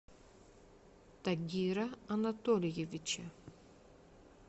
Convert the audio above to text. тагира анатольевича